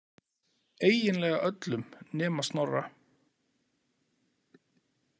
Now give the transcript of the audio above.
Eiginlega öllum nema Snorra.